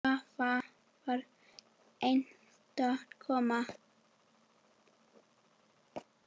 Svava var einstök kona.